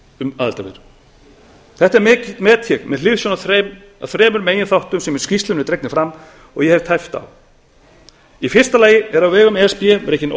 um aðild þetta met ég með hliðsjón af þremur meginþáttum sem í skýrslunni eru dregnir fram og ég hef tæpt á í fyrsta lagi er á vegum e s b rekin